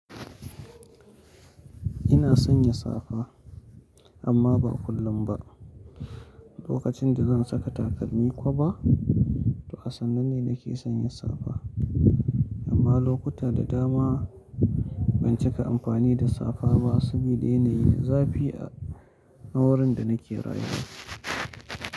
Ina sanya safa amma ba kullum ba. Lokacin da zan saka takalmi koba, to asannu ne nake sanya safa. Amma lokuta da dama ban cika amfani da safa ba saboda yanayi da zafi a wurin da nake rayuwa.